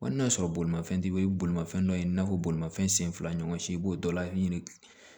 Wa n'a sɔrɔ bolimafɛn te bolimafɛn dɔ ye i n'a fɔ bolimafɛn sen fila ɲɔgɔn si i b'o dɔ laɲini